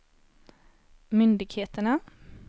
myndigheterna